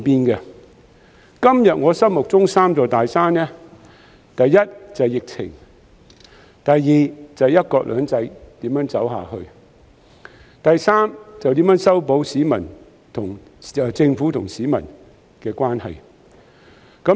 我今天心目中的三座大山，第一是疫情，第二是"一國兩制"如何走下去，第三就是如何修補政府與市民的關係。